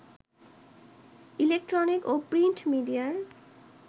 electronic ও print মিডিয়ার